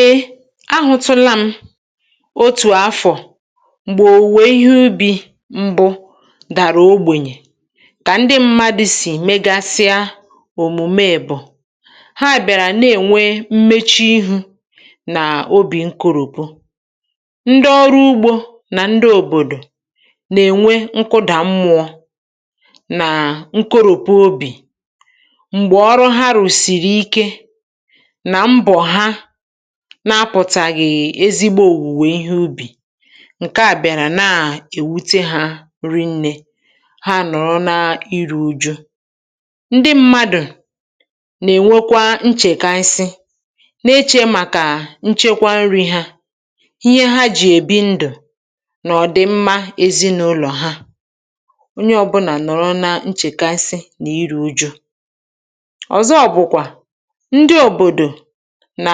E, ahụtụla m otu̇ àfọ̀ m̀gbè òwùwè ihé ubi̇ mbụ dàrà ogbènyè kà ndị mmadụ̇ sì megasịa òmùme bụ́, ha bị̀àrà na-ènwe mmechu ihu̇ nà òbì nkoropụ. Ndị ọrụ ugbȯ nà ndị òbòdò nà-ènwe nkụdà mmụọ na nkoropu obì m̀gbè ọrụ ha rụ̀sị̀rị̀ ike nà mbọ há na-apụ̀tàghị̀ ezigbo òwùwè ihé ubì ǹke à bịàrà na-èwute hȧ ri nne ha nọ̀rọ na iru̇ ụjụ. Ndị mmadụ̀ nà-ènwekwa nchèka nsị, na-echė màkà nchekwa nri̇ ha, ihé há jì èbi ndụ̀ nà ọ̀dị mma ezinàụlọ̀ há onye ọbụnà nọ̀rọ na nchèkasị nà iru̇ ụjụ. Ọ̀zọ bụ̀kwà, ndị obodo nà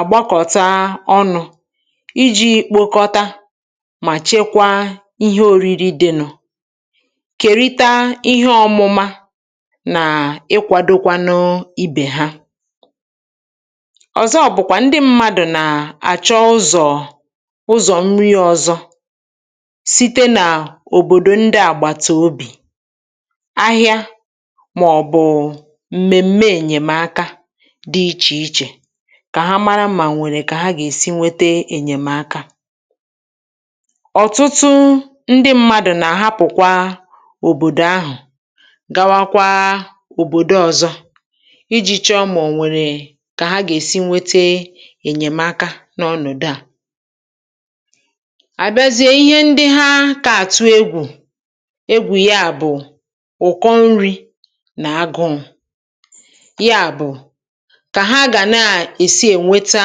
àgbakọ̀ta ọnụ̇ iji̇ kpokọta mà chekwaa ihé òriri di nụ, kerịta ihé ọmụma nà ikwȧdo kwanụ ibè há. Ọ̀zọ bụ̀kwà ndị mmadụ̀ nà àchọ ụzọ̀ ụzọ̀ nri ọzọ̇ site nà òbòdò ndị àgbàtà obì, ahịa màọbụ̀ụ̀ m̀mèm̀me ènyèmaka dị ichè ichè kà ha màrà mà o nwèrè kà ha gà-èsi nwete ènyèmaka. Ọ̀tụtụ ndị mmadụ̀ nà-àhapụ̀ kwà òbòdò ahụ̀ gawa kwà òbòdo ọ̀zọ iji̇ chọọ mà ọ nwèrè kà ha gà-èsi nwete ènyèmaka n’ọnụ̀dụ à. A bịazie ihé ndị há kà àtụ egwù egwù ya bụ̀ ụ̀kọ nri̇ nà agụụ̀ yá bụ̀, kà ha gá ná esi enweta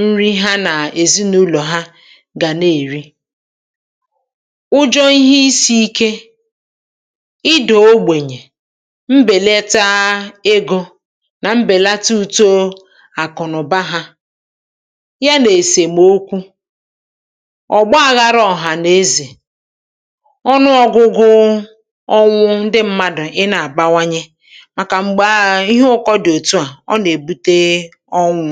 nri há nà esi nà ụlọ̀ ha gà nà-èri. Ụjọ ihé isi̇ ike, ịda ogbènyè, mbèleta egȯ nà mbèlata uto àkụ̀nụ̀ba hȧ yá nà-esèmoku, ọgbaghara ọ̀hànaezè, ọnụ ọ̀gụgụ ọnwụ ndị mmadụ̀ ị nà-àbawanye màkà m̀gbè um ihé ụkọ dị̀ òtu a, ọ nà ebute ọnwụ.